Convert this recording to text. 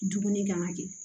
Dumuni kan ka kɛ